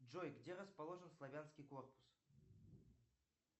джой где расположен славянский корпус